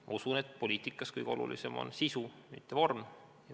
Ma usun, et poliitikas kõige olulisem on sisu, mitte vorm.